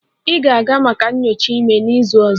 Ị ga-aga maka nyocha ime n'izu ọzọ